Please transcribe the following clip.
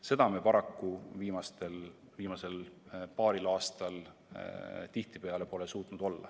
Seda me paraku viimasel paaril aastal pole tihtipeale suutnud.